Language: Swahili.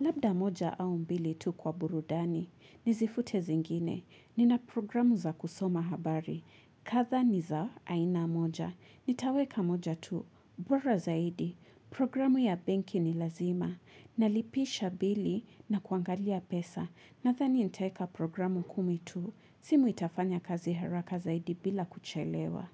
Labda moja au mbili tu kwa burudani. Nizifute zingine. Nina programu za kusoma habari. Kadhaa ni za aina moja. Nitaweka moja tu. Bora zaidi. Programu ya benki ni lazima. Nalipisha bili na kuangalia pesa. Nadhani nitaeka programu kumi tu. Simu itafanya kazi haraka zaidi bila kuchelewa.